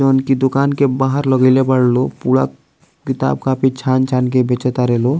जोन की दुकान के बाहर लगईले बाड़े लो पूरा किताब कॉपी छान-छान के बेचे तारे लो --